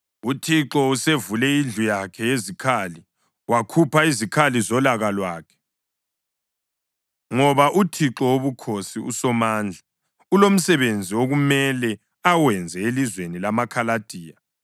UThixo usevule indlu yakhe yezikhali wakhupha izikhali zolaka lwakhe, ngoba uThixo Wobukhosi, uSomandla ulomsebenzi okumele awenze elizweni lamaKhaladiya.